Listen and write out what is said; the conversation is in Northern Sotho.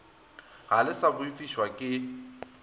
ga le sa boifišwa ke